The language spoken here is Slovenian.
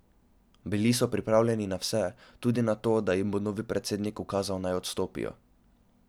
Bili so pripravljeni na vse, tudi na to, da jim bo novi predsednik ukazal, da naj odstopijo.